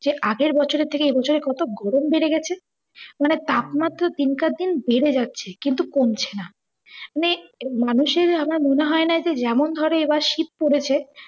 যে আগের বছরের থেকে এ বছরে কত গরম বেড়ে গেছে। মানে তাপমাত্রা দিন কে দিন বেড়ে যাচ্ছে কিন্তু কমছে না। মানে মানুষের আমার মনে হয় না যে যেমন ধরো এবার শীত পরেছে